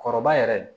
Kɔrɔba yɛrɛ